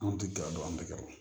Anw tɛ gɛrɛ a dɔn an bɛ gawo